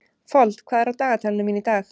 Fold, hvað er á dagatalinu mínu í dag?